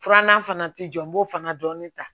Filanan fana tɛ jɔ n b'o fana dɔɔnin ta